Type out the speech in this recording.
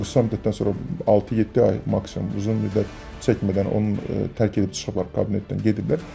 Qısa müddətdən sonra altı-yeddi ay maksimum uzun müddət çəkmədən onun tərk edib çıxıblar kabinetdən, gediblər.